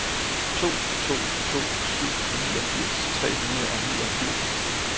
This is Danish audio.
to to to syv niogfirs tre hundrede og niogfirs